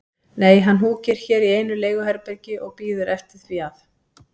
Nei, hann húkir hér í einu leiguherbergi og bíður eftir því að